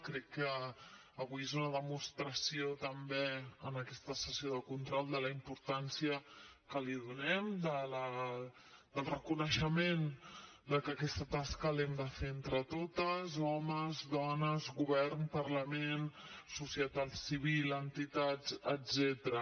crec que avui és una demostració també en aquesta sessió de control de la importància que li donem del reconeixement de que aquesta tasca l’hem de fer entre totes homes dones govern parlament societat civil entitats etcètera